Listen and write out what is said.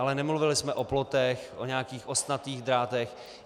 Ale nemluvili jsme o plotech, o nějakých ostnatých drátech.